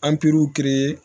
An pɛruw